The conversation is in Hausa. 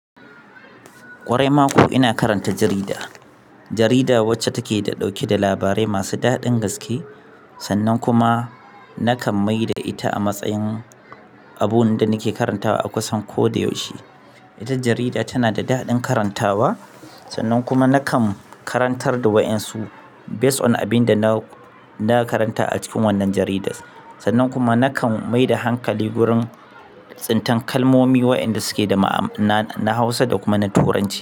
Kwarai mako ina karanta jarida. Jarida wacce take da ɗauke da labarai masu daɗin gaske sannan kuma nakan maida ita a matsayin abun da nake karantawa a kusan ko da yaushe. Ita jarida tana da daɗin karantawa sannan kuma nakan karantar da wa ƴan su based on abinda na na karanta a cikin wannan jaridar. Sannan kuma nakan mai da hankali wurin tsintan kalmomi waƴanda suke da ma'ana na Hausa da kuma na Turanci.